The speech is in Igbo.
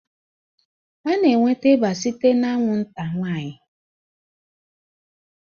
A na-enweta ịba site na anwụnta nwanyị